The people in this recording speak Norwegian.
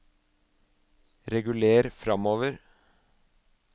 reguler framover